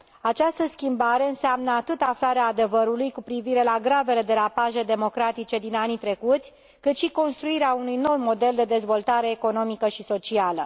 Această schimbare înseamnă atât aflarea adevărului cu privire la gravele derapaje democratice din anii trecuți, cât și construirea unui nou model de dezvoltare economică și socială.